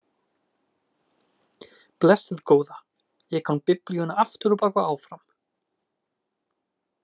Blessuð góða, ég kann Biblíuna aftur á bak og áfram